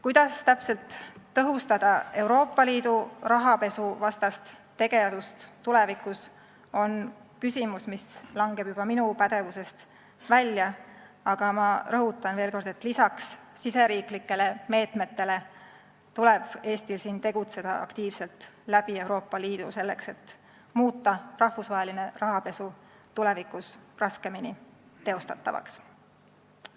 Kuidas täpselt tõhustada Euroopa Liidu rahapesuvastast tegevust tulevikus, on küsimus, mis jääb juba minu pädevusest välja, aga ma rõhutan veel kord, et lisaks riigisisestele meetmetele tuleb Eestil siin tegutseda aktiivselt Euroopa Liidu kaudu, selleks et muuta rahvusvaheline rahapesu tulevikus raskemini teostatavaks.